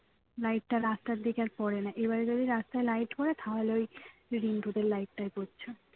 light টা আর রাস্তার দিকে আর পড়ে না এবারে যদি রাস্তায় light পড়ে তাহলে ওই রিন্টুদের light টায় পড়ছে